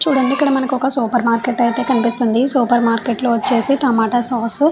చూడండి మనకి ఇక్కడ ఒక సూపర్ మార్కెట్ అయితే కనిపిస్తుంది. మార్కెట్లో వచ్చేసి టమోటా సాస్ --